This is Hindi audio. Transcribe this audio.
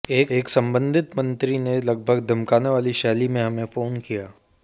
एक सम्बन्धित मंत्री ने लगभग धमकाने वाली शैली में हमें फोन किया